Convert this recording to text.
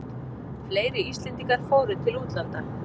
Fleiri Íslendingar fóru til útlanda